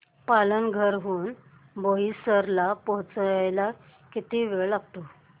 पालघर हून बोईसर ला पोहचायला किती वेळ लागतो